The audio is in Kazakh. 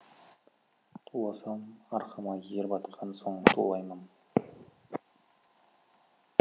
туласам арқама ер батқан соң тулаймын